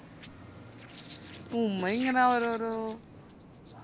ഉമ്മ ഇങ്ങനെ ഓരോരോ